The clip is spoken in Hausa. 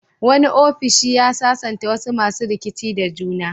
Wani ofishi ya sasanta wasu masu rikici da juna.